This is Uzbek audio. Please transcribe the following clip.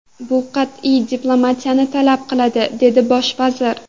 Bu qat’iy diplomatiyani talab qiladi”, dedi bosh vazir.